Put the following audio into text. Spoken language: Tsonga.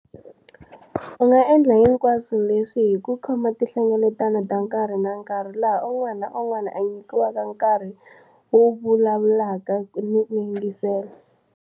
U nga endla hinkwaswo leswi hi ku khoma tihlengeletano ta nkarhi na nkarhi laha un'wana na un'wana a nyikiwaka nkarhi wo vu lavulaka ni ku yingisela.